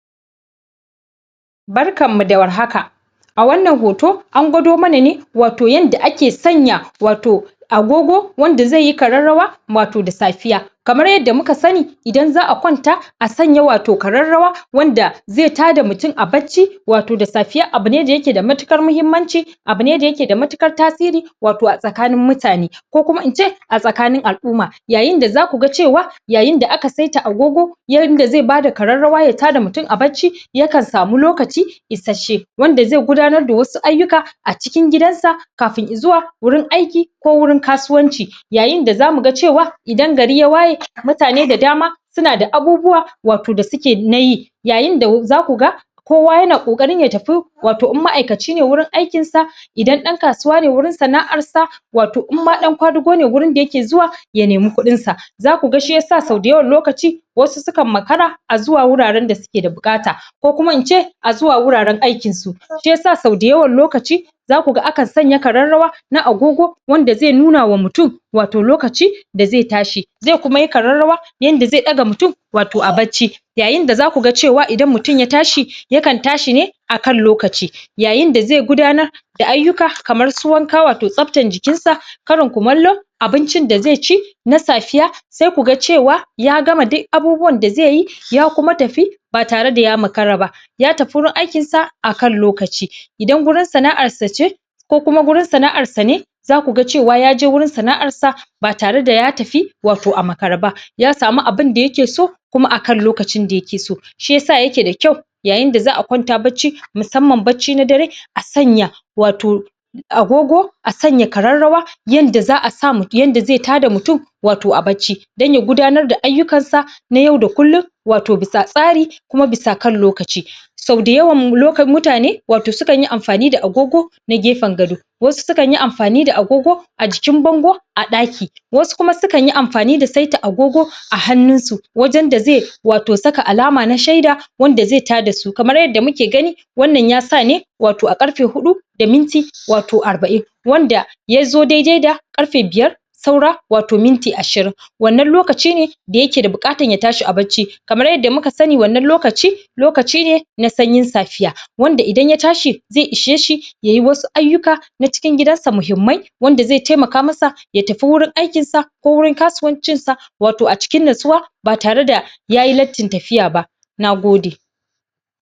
Barkanmu da warhaka. A wannan hoto an gwado mana ne, wato yadda ake sanya wato agogo wanda zai yi kararrawa wato da safiya. Kamar yadda mu ka sani, idan za'a kwanta a sanya wato kararrawa wanda zai tada mutum a barci, wato da sfiya abu ne da yake da matukar mahimmanci, abu ne da yake da matukar tasiri wato a tsakanin mutane, ko kuma ince, a tsakanin al'umma. Yayin da za kuga cewa, yayin da aka saita agogo, yanda zai bada kararrawa ya tada mutum a barci, yakan samu lokaci isasshe. wanda zai gudanar da wasu ayyuka a cikin gidan sa, kafin izuwa wurin aiki ko wurin kasuwanci. Yayin da zamu ga cewa, idan gari ya waye, mutane da dama suna da abubuwa wato da suke nayi yayin da za kuga kowa yana kokarin ya tafi wato in ma'aikaci ne wato wurin aikinsa, idan ɗan kasuwa ne wurin sana'ar sa. wato in ma ɗan kwadugu ne wurin da yake zuwa ya nemi kuɗinsa. Za ku ga shi yasa sau da yawan lokaci, wasu su kan makara, a zuwa wuararen da su ke da buƙata, ko kuma ince, a zuwa wuraren aikinsu. Shi yasa sau da yawan lokaci, za kuga akan sanya kararrawa, na agogo wand azai nunuwa mutum wato lokaci da zai tashi. Zi kuma yi kararrawa inda zai ɗaga mutum wato a barci. Yayin da zaku ga cewa idan mutum ya tashi, ya kan ta shine a kan lokaci. Yayin da zai gudanar da ayyuka kamar su wanka wato tsaftar jikinsa, karon kumallo, abincin da zai ci, na safiya, sai ku ga cewa, ya gama di abubuwan da zai yi, ya kuma tafi, ba tare da ya makara ba. ya tafi wurin aikinsa a akan lokaci. Idan gurin sana'arsa ce, ko kuma wurin sana'arsa ne, za kuga yaje wurin sana'arsa ba tare da ya tafi wato a makare ba. Ya sami abinda yake so, kuma akan lokacin da yake so. Shi yasa yake da kyau, yayin da za'a kwanta barci, musamman bacci na dare, a sanya wato agogo a sanya kararrawa, [yanda za sa] yanda zai tada mutum wato a barci. Don ya gudanar da ayyukan sa na yau da kullum wato bisa tsari, kuma bisa kan lokaci. Sau da yawam [loka] mutane wato su kan yi amfani da agogo, na gefen gado, wasu su kan yi amfani da agogo a jikin bango, a ɗaki, wasu kuma su kan yi amfani da saita agogo a hannunsu. wajen da zai wato saka alama na shaida, wanda zai tada su, kamar yadda muke gani, wannan ya sa ne wato a ƙarfe huɗu, da minti wato arba'in. Wandsa yazo daidai da ƙarfe biyar saura wato minti ashirin. Wannan lokaci ne da yake da buƙatan ya tashi a bacci kamar yadda mu ka sani wannan lokaci, lokaci ne na sanyin safiya. Wanda idan ya tashi, zai ishe shi yayi wasu ayyuka na cikin gidan sa muhimmai wand azai taimaka masa ya tafi wurin aikinsa ko wurin kasuwancinsa wato a cikin natsuwa ba tare da yayi lattin tafiya ba Nagode.